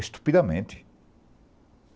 Estupidamente.